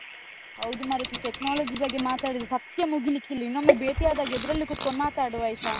ಹೌದು ಮಾರೈತಿ. technology ಬಗ್ಗೆ ಮಾತಾಡಿದ್ರೆ ಸತ್ಯ ಮುಗಿಲಿಕ್ಕಿಲ್ಲ, ಇನ್ನೊಮ್ಮೆ ಬೇಟಿಯಾದಾಗ ಎದುರಲ್ಲಿ ಕೂತ್ಕೊಂಡ್ ಮಾತಾಡುವ ಆಯ್ತಾ?